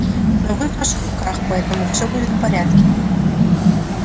но вы в наших руках поэтому всё будет в порядке